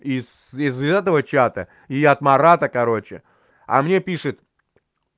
из из этого чата и от марата короче а мне пишет